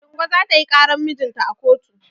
Ladingo za ta yi ƙaran mijinta a kotu.